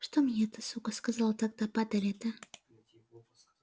что мне эта сука сказала тогда падаль эта